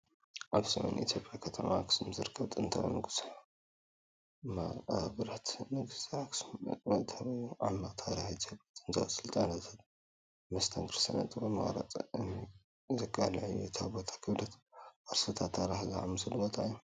ኣብ ሰሜን ኢትዮጵያ ከተማ ኣኽሱም ዝርከብ ጥንታዊ ንጉሳዊ መቓብራት ንግስነት ኣክሱም መእተዊ እዩ። ዓሚቕ ታሪኽ ኢትዮጵያ፣ ጥንታዊ ስልጣነታትን መስተንክር ስነ-ጥበብ ምቕራጽ እምኒን ዘቃልዕ እዩ። እቲ ቦታ ክብደት ቅርስታትን ታሪኽን ዝስመዓሉ ቦታ እዩ።